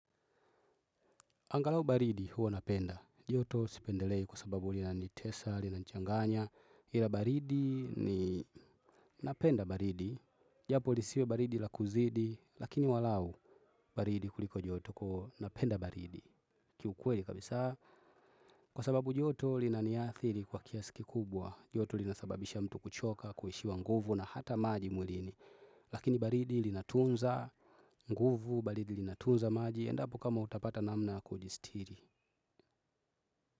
Angalau baridi, huwa napenda. Joto sipendelei, kwa sababu, lina nitesa, lina nchanganya, ila baridi ni napenda baridi. Japo lisiwe baridi la kuzidi, lakini walau, baridi kuliko joto koo napenda baridi. Kiukweli kabisa, kwa sababu joto lina niathiri kwa kiasi kikubwa, joto linasababisha mtu kuchoka, kuishiwa nguvu na hata maji mwilini. Lakini baridi lina tunza, nguvu, baridi lina tunza maji, endapo kama utapata namna ya kujistiri.